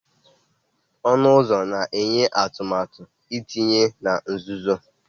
Ọnụ ụzọ na-enye atụmatụ ntinye na nzuzo